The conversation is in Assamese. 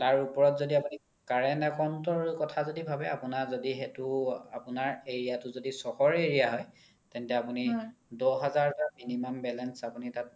তাৰ ওপৰত য্দি আপোনি current account ৰ কথা য্দি ভাবে আপোনাৰ যদি সেইটো আপোনাৰ area তো য্দি চহৰ area হয় তেন্তে আপোনি দহ হাজাৰ তকা minimum balance আপোনি তাত